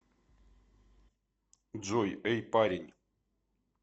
джой эй парень